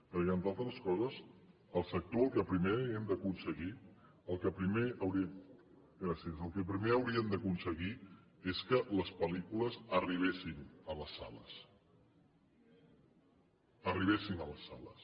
perquè entre altres coses el sector el que primer hem d’aconseguir el que primer hauríem d’aconseguir és que les pel·lícules arribessin a les sales arribessin a les sales